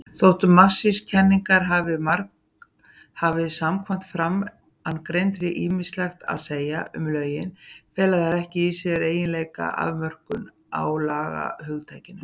Þótt marxískar kenningar hafi samkvæmt framangreindu ýmislegt að segja um lögin, fela þær ekki í sér eiginlega afmörkun á lagahugtakinu.